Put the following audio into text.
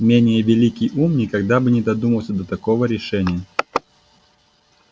менее великий ум никогда бы не додумался до такого решения